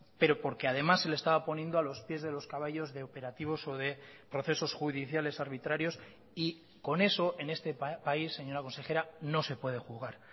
pero porque además se le estaba poniendo a los pies de los caballos de operativos o de procesos judiciales arbitrarios y con eso en este país señora consejera no se puede jugar